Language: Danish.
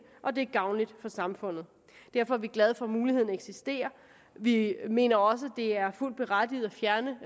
og det er gavnligt for samfundet derfor er vi glade for at muligheden eksisterer vi mener også det er fuldt berettiget at fjerne